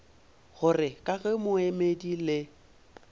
gore ka ge moemedi le